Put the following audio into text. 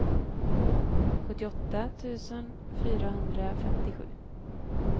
sjuttioåtta tusen fyrahundrafemtiosju